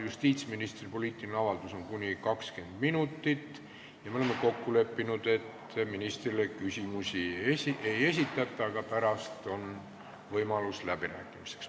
Justiitsministri poliitiline avaldus kestab kuni 20 minutit ja me oleme kokku leppinud, et ministrile küsimusi ei esitata, aga pärast on võimalus läbi rääkida.